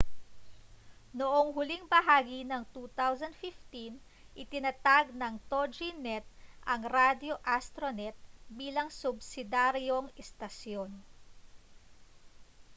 noong huling bahagi ng 2015 itinatag ng toginet ang radyo astronet bilang subsidiyaryong istasyon